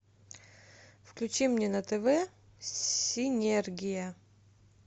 включи мне на тв синергия